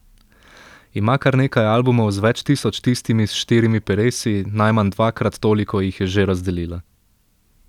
Ima kar nekaj albumov z več tisoč tistimi s štirimi peresi, najmanj dvakrat toliko jih je že razdelila.